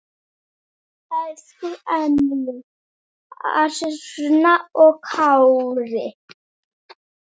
Elsku Emil, Alma og Kári.